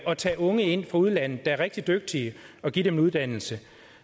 at tage unge ind fra udlandet der er rigtig dygtige og give dem en uddannelse